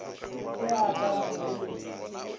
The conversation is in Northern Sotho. se a ka a mpoledi